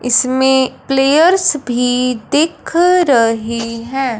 इसमें प्लेयर्स भी दिख रहे हैं।